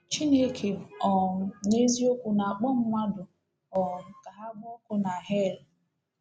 “Chineke um n’eziokwu na-akpọ mmadụ um ka ha gbaa ọkụ n’hel?”